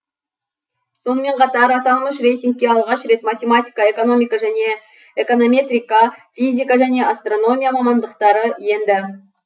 сонымен қатар аталмыш рейтингке алғаш рет математика экономика және эконометрика физика және астрономия мамандықтары енді